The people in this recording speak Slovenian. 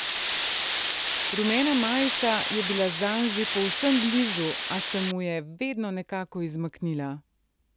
Rumena majica je bila zanj že povsem blizu, a se mu je vedno nekako izmaknila.